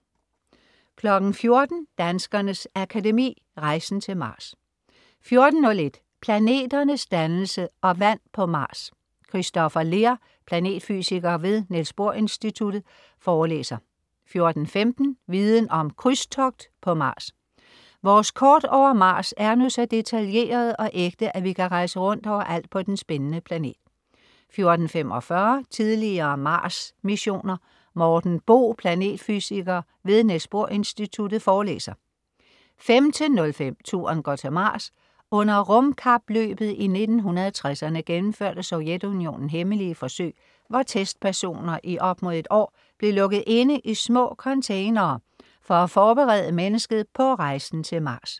14.00 Danskernes Akademi. Rejsen til Mars 14.01 Planeternes dannelse og vand på Mars. Kristoffer Leer, planetfysiker ved Niels Bohr Instituttet forelæser 14.15 Viden om: Krydstogt på Mars. Vores kort over Mars er nu så detaljerede og ægte, at vi kan rejse rundt overalt på den spændende planet 14.45 Tidligere Mars-missioner. Morten Bo, planetfysiker ved Niels Bohr Instituttet, forelæser 15.05 Turen går til Mars. Under rumkapløbet i 1960'erne gennemførte Sovjetunionen hemmelige forsøg, hvor testpersoner i op mod et år blev lukket inde i små containere for at forberede mennesket på rejsen til Mars